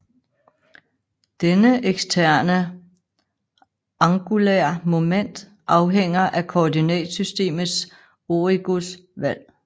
Denne eksterne angulær moment afhænger af koordinatsystemets origos valg